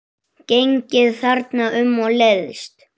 Gengið þarna um og leiðst.